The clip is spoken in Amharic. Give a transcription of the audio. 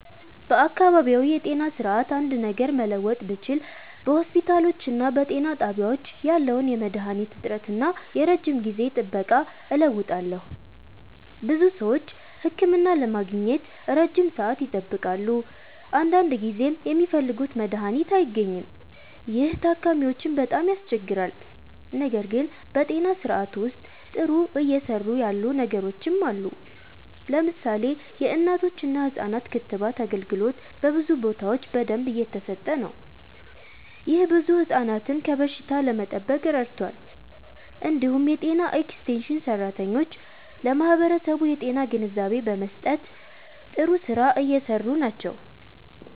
በአካባቢያዊ የጤና ስርዓት አንድ ነገር መለወጥ ብችል በሆስፒታሎችና በጤና ጣቢያዎች ያለውን የመድሃኒት እጥረት እና የረጅም ጊዜ ጥበቃ እለውጣለሁ። ብዙ ሰዎች ህክምና ለማግኘት ረጅም ሰዓት ይጠብቃሉ፣ አንዳንድ ጊዜም የሚፈልጉት መድሃኒት አይገኝም። ይህ ታካሚዎችን በጣም ያስቸግራል። ነገር ግን በጤና ስርዓቱ ውስጥ ጥሩ እየሰሩ ያሉ ነገሮችም አሉ። ለምሳሌ የእናቶችና ህፃናት ክትባት አገልግሎት በብዙ ቦታዎች በደንብ እየተሰጠ ነው። ይህ ብዙ ህፃናትን ከበሽታ ለመጠበቅ ረድቷል። እንዲሁም የጤና ኤክስቴንሽን ሰራተኞች ለማህበረሰቡ የጤና ግንዛቤ በመስጠት ጥሩ ስራ እየሰሩ ናቸው።